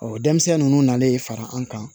denmisɛnnin ninnu nalen fara an kan